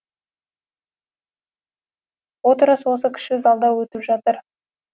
отырыс осы кіші залда өтіп жатыр